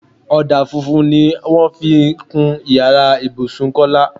Ọdà funfun ni wọ́n fi kun ìyára ibùsùn Kọ́lá.